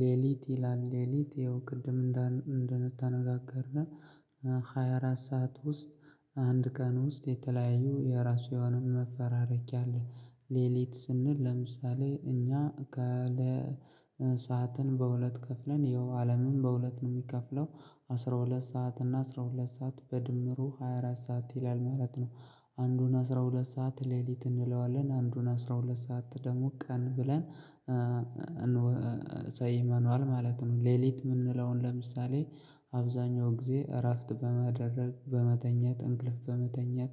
ሌሊት ይላል ሌሊት ይኸው ቅድም እንደተነጋገርነው ሃያ አራት ሰዓት ውስጥ አንድ ቀን ውስጥ የተለያየ የራሱ የሆነ መፈራረክ አለ። ሌሊት ስንል ለምሳሌ እኛ ሰዓትን በሁለት ከፍለን ይኸው አለምን በሁለት ነው የሚከፍለው አስራ ሁለት ሰዓት እና አስራ ሁለት ሰዓት በድምሩ ሃያ አራት ሰዓት ይላል ማለት ነው። አንዱን አስራ ሁለት ሰዓት ሌሊት እንለዋለን አንዱን አስራ ሁለት ሰዓት ደግሞ ቀን ብለን እንወስይ መኑዋል ማለት ነው። ሌሊት የምንለውን ለምሳሌ አብዛኛው ጊዜ እራፍት በመደረግ በመተኛ እንቅልፍ በመተኛት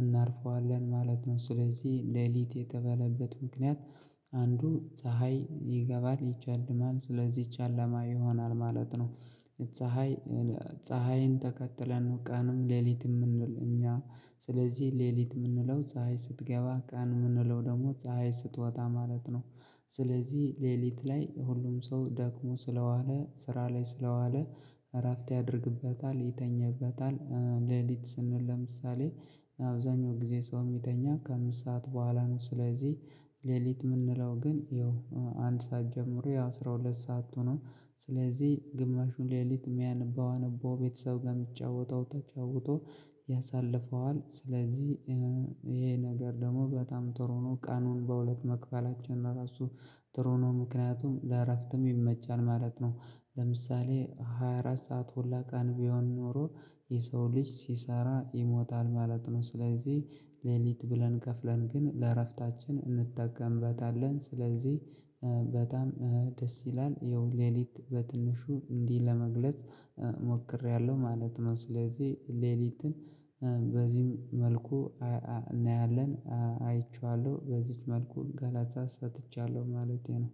እናርፈዋለን ማለት ነው። ስለዚህ ሌሊት የተባለበት ምክንያት አንዱ ፀሀይ ይገባል ይጨልማል ስለዚህ ጭላማ ይሆናል ማለት ነው። ፀሀይ ፀሀይን ተከትለን ቀንም ሌሊት የምንል እኛ ስለዚህ ሌሊት የምንለው ፀሀይ ስትገባ ቀን የምንለው ደግሞ ፀሀይ ስትወጣ ማለት ነው። ስለዚህ ሌሊት ላይ ሁሉም ሰው ደክሞ ስለዋለ ስራ ላይ ስለዋለ እራፍቴ አድርግበታል ይተኛበታል ሌሊት ስንል ለምሳሌ አብዛኛው ጊዜ ሰው የሚተኛ ከአምስት ሰዓት በኋላ ነው ስለዚህ። ሌሊት የምንለው ግን ያው አንድ ሰዓት ጀምሮ ያው አስራ ሁለት ሰዓት ሆኖ ስለዚህ ግማሹን ሌሊት የሚያነበው አነባው ቤተሰብ ጋር የሚጫወተው ተጫውቶ ያሳልፈዋል ስለዚህ ይሄ ነገር ደግሞ በጣም ጥሩ ነው። ቀኑን በሁለት መክፈላቸውና ራሱ ጥሩ ነው ምክንያቱም ለእረፍትም ይመቻል ማለት ነው። ለምሳሌ ሃያ አራት ሰዓት ሁላ ቀን ቢሆን ኖሮ የሰው ልጅ ሲሰራ ይሞታል ማለት ነው። ስለዚህ ሌሊት ብለን ከፍለን ግን ለእረፍታችን እንጠቀምበታለን ስለዚህ በጣም ደስ ይላል ይኸው ሌሊት በትንሹ እንዲህ ለመግለጽ ሞክሬያለሁ ማለት ነው። ስለዚህ ሌሊትን በዚህም መልኩ እናያለን አይቼዋለሁ በዚህች መልኩ ገላታ ሰጥቻለሁ ማለቴ ነው